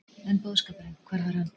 En boðskapurinn, hvar var hann?